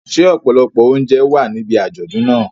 Ṣé ọ̀pọ̀lọpọ̀ oúnjẹ wà níbi àjọ̀dún náà?